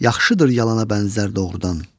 yaxşıdır yalana bənzər doğrudan.